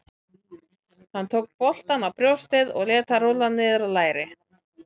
Hann tók boltann á brjóstið og lét hann rúlla niður á lærið.